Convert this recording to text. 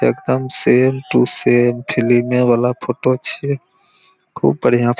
एकदम same to same फिलिमे वाला फोटो छै खूब बढ़िया--